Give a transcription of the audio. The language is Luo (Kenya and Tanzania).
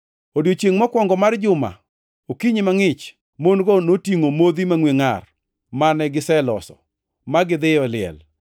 Odiechiengʼ mokwongo mar juma, okinyi mangʼich, mon-go notingʼo modhi mangʼwe ngʼar mane giseloso, ma gidhiyo e liel.